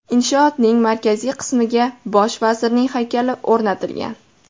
Inshootning markaziy qismiga bosh vazirning haykali o‘rnatilgan.